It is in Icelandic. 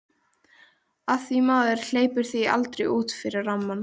Af því maður hleypir því aldrei út fyrir rammann.